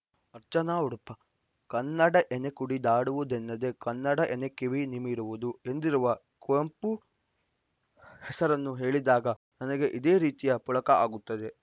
ಅರ್ಚನಾ ಉಡುಪ ಕನ್ನಡ ಎನೆ ಕುಣಿದಾಡುವುದೆನ್ನದೆ ಕನ್ನಡ ಎನೆ ಕಿವಿ ನಿಮಿರುವುದು ಎಂದಿರುವ ಕುವೆಂಪುನವರ ಹೆಸರನ್ನು ಕೇಳಿದಾಗ ನನಗೆ ಇದೇ ರೀತಿಯ ಪುಳಕ ಆಗುತ್ತದೆ